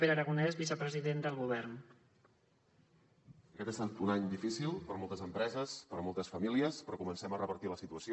aquest ha estat un any difícil per a moltes empreses per a moltes famílies però comencem a revertir la situació